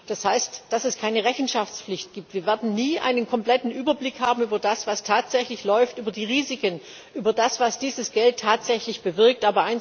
Das heißt, dass es keine Rechenschaftspflicht gibt wir werden nie einen kompletten Überblick darüber haben, was tatsächlich läuft, über die Risiken, über das, was dieses Geld tatsächlich bewirkt.